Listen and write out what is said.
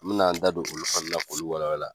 N bɛ na n da don olu fana k'olu walawala.